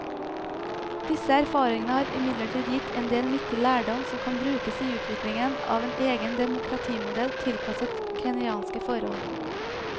Disse erfaringene har imidlertid gitt en del nyttig lærdom som kan brukes i utviklingen av en egen demokratimodell tilpasset kenyanske forhold.